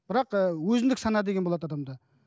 бірақ ы өзіндік сана деген болады адамда